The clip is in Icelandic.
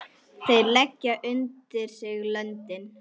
Þeir leggja undir sig löndin!